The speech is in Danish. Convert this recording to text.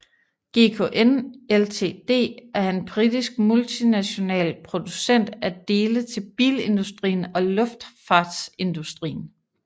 GKN Ltd er en britisk multinational producent af dele til bilindustrien og luftfartsindustrien